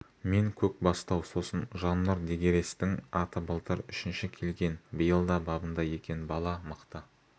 мен көкбастау сосын жаннұр дегерестің аты былтыр үшінші келген биыл да бабында екен бала мықты